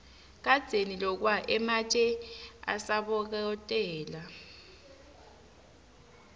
kadzeni lokwa ematje asabokotela